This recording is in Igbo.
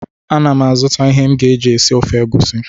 Ana m azụta ihe m ga-eji esi ofe egusi